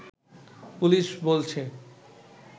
police বলছে